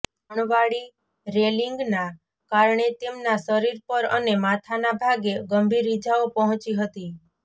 અણવાળી રેલીંગના કારણે તેમનાં શરીર પર અને માથાના ભાગે ગંભીર ઈજાઓ પહોંચી હતી